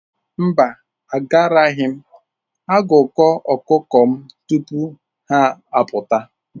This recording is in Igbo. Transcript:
Mba, agaraghị m agụkọ ọkụkọ m tupu ha apụta.